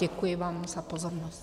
Děkuji vám za pozornost.